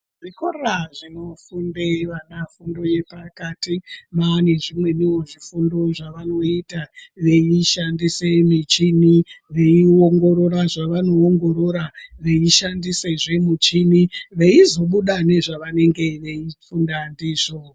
Zvikora zvinofunde vana fundo yepakati maane zvimweniwo zvifundo zvavanoita veishandise mishini, veiongorora zvavano ongorora, veishandise zvee mishini veizobuda nezvavanenge veifunda ndizvo.